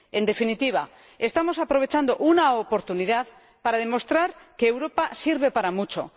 En definitiva, estamos aprovechando una oportunidad para demostrar que Europa sirve para mucho.